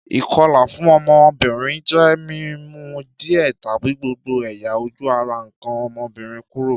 Ìkolà fun ọ́mọ́bìnrin je mi mu díẹ̀ tàbi gbogbo ẹ̀yà-ojú ara nkàn ọ́mọ́bìnrin kúrò.